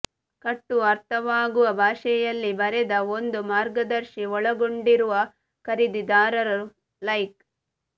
ಕಟ್ಟು ಅರ್ಥವಾಗುವ ಭಾಷೆಯಲ್ಲಿ ಬರೆದ ಒಂದು ಮಾರ್ಗದರ್ಶಿ ಒಳಗೊಂಡಿರುವ ಖರೀದಿದಾರರು ಲೈಕ್